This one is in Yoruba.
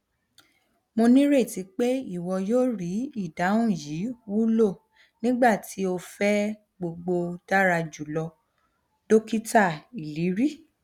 mo nireti pe iwọ yoo rii idahun yii wulonigbati o fẹ gbogbo dara julọ dokita iliri